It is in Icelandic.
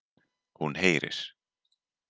Hún heyrir.